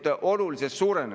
See on krooniline probleem.